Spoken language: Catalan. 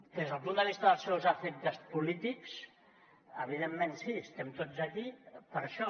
des del punt de vista dels seus efectes polítics evidentment sí estem tots aquí per això